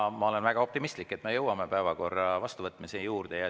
Aga ma olen väga optimistlik, et me jõuame päevakorra vastuvõtmise juurde.